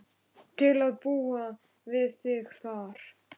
Hún skemmtir sér oft í Sjallanum um helgar.